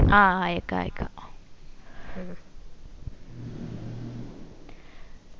ആ അയക്കാ അയക്കാ